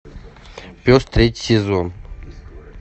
пес третий сезон